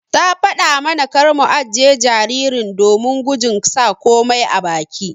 Ta fada mana kar mu ajiƴe jaririn domin gujin sa komai a baki.